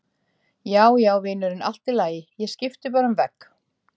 Já, já, vinurinn, allt í lagi, ég skipti bara um vegg.